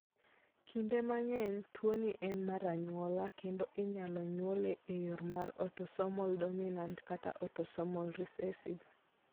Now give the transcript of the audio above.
Kinde mang'eny, tuwoni en mar anyuola, kendo inyalo nyuole e yo mar autosomal dominant kata autosomal recessive.